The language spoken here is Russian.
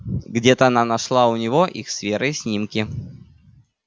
где-то она нашла у него их с верой снимки